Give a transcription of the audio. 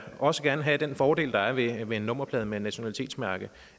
også gerne have den fordel der er ved en nummerplade med et nationalitetsmærke